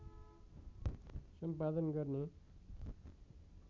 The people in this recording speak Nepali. सम्पादन गर्ने